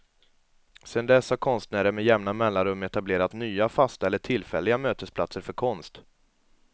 Sedan dess har konstnärer med jämna mellanrum etablerat nya, fasta eller tillfälliga, mötesplatser för konst.